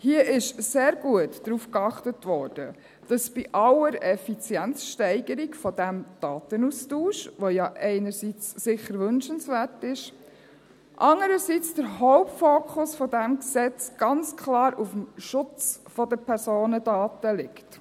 Hier ist sehr gut darauf geachtet worden, dass bei aller Effizienzsteigerung dieses Datenaustausches, der ja einerseits sicher wünschenswert ist, der Hauptfokus des Gesetzes andererseits ganz klar auf dem Schutz der Personendaten liegt.